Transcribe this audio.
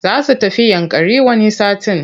Za su tafi Yankari wani satin.